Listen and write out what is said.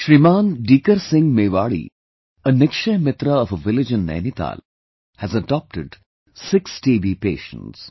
Shriman Dikar Singh Mewari, a Nikshay friend of a village in Nainital, has adopted six TB patients